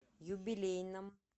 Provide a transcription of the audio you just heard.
юбилейном